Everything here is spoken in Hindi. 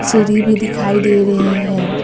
सिरि भी दिखाई दे रहे हैं।